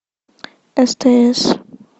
стс